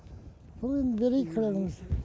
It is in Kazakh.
бұл енді берейік күрегімізді